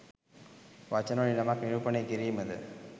වචන වලින් යමක් නිරූපණය කිරීමද?